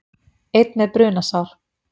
Einn með brunasár